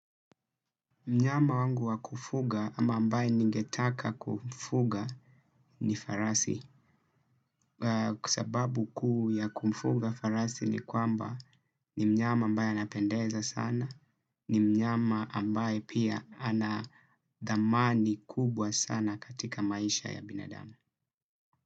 Mnyama wangu wa kufuga ama ambaye ningetaka kumfuga ni farasi. Sababu kuu ya kufuga farasi ni kwamba ni mnyama ambaye anapendeza sana, ni mnyama ambaye pia ana thamani kubwa sana katika maisha ya binadamu.